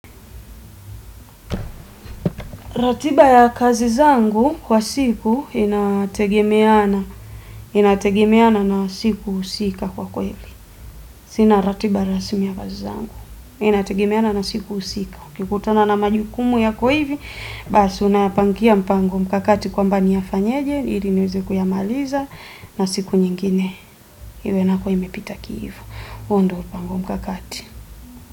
Ratiba ya kazi zangu kwa siku inategemeana na siku husika kwa kweli. Sina ratiba rasimi ya kazi zangu. Inategemeana na siku husika. Ukikutana na majukumu yako hivi, basi unayapangia mpango mkakati kwamba niyafanyaje, ili niweze kuyamaliza na siku nyingine. Iwe nako imepita kihivo huu ndo mpango mkakati.